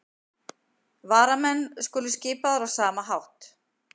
Varamenn skulu skipaðir á sama hátt